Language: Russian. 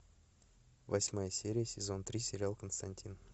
восьмая серия сезон три сериал константин